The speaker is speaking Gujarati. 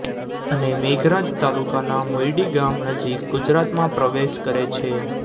અને મેઘરજ તાલુકાના મોયડી ગામ નજીક ગુજરાતમાં પ્રવેશ કરે છે